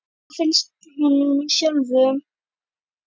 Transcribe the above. En hvað finnst honum sjálfum?